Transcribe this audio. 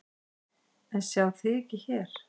En sjá þig ekki hér.